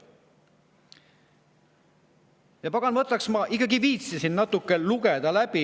Ja pagan võtaks, ma ikkagi viitsisin eelnõu läbi lugeda.